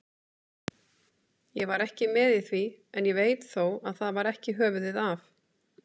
Ég var ekki með í því, en veit þó að það var ekki höfuðið af